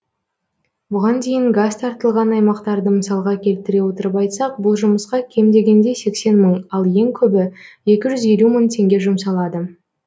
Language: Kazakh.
бұған дейін газ тартылған аймақтарды мысалға келтіре отырып айтсақ бұл жұмысқа кем дегенде сексен мың ал ең көбі екі жүз елу мың теңге жұмсалады